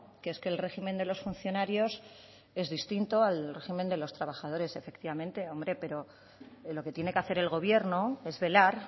que es que el régimen de los funcionarios es distinto al régimen de los trabajadores efectivamente hombre pero lo que tiene que hacer el gobierno es velar